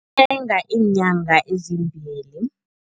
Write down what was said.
Iinyanga ezimbili.